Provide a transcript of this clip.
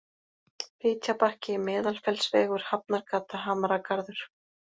Fitjabakki, Meðalfellsvegur, Hafnargata, Hamragarður